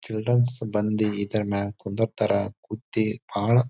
Childrens ಬಂದಿ ಇದ್ರ ಮ್ಯಾಗ್ ಕುಂದ್ರತರ. ಕುತ್ತಿ ಬಹಳ್ --